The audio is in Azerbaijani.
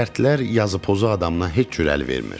Şərtlər yazı pozu adamına heç cür əl vermir.